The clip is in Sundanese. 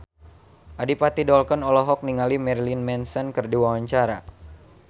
Adipati Dolken olohok ningali Marilyn Manson keur diwawancara